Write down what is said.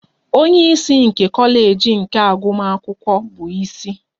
Onye isi nke kọleji nke agụmakwụkwọ bụ isi.